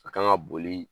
A kan ka boli